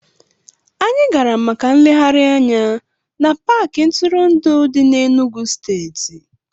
Anyị gara maka nlegharị anya n'Paakị ntụrụndụ dị n'Enugwu steeti